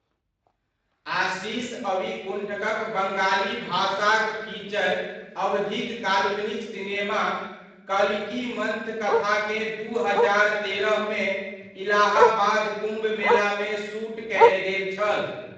आशीष अविकुण्ठक'क बङ्गाली भाषाक फीचर अवधिक काल्पनिक सिनेमा कल्किमन्थकथाकेँ दू हजार तेरहमे, इलाहाबाद कुम्भ मेलामे शूट कयल गेल छल।